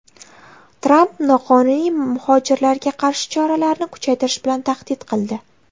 Tramp noqonuniy muhojirlarga qarshi choralarni kuchaytirish bilan tahdid qildi.